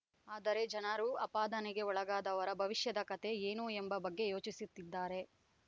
ಆದರೆ ಜನರು ಆಪಾದನೆಗೆ ಒಳಗಾದವರ ಭವಿಷ್ಯದ ಕತೆ ಏನು ಎಂಬ ಬಗ್ಗೆ ಯೋಚಿಸುತ್ತಿದ್ದಾರೆ